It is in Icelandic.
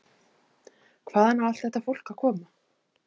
Hvaðan á allt þetta fólk að koma?